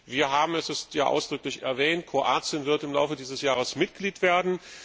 Wir haben es ja ausdrücklich erwähnt Kroatien wird im Laufe dieses Jahres Mitglied werden.